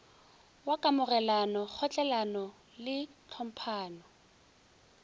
wa kamogelano kgotlelelano le tlhomphano